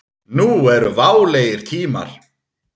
Nú eru válegir tímar.